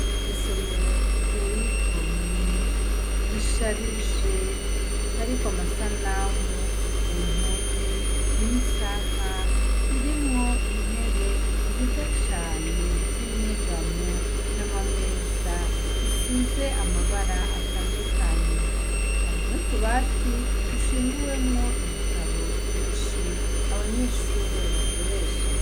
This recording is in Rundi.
Isomero riteye igomwe risharije hariko amasanamu n'isaha irimwo intebe nziza cane z'inyegamo harimwo n'imeza zisize amabara atandukanye, hari n'utubati dushinguwemwo ibitabo vyinshi abanyeshure bakoresha.